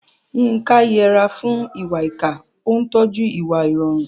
Yinka yẹra fún ìwà ìkà, ó ń tọ́jú ìwà ìrọ̀rùn.